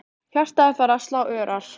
Hjartað er farið að slá örar.